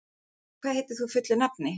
Arnborg, hvað heitir þú fullu nafni?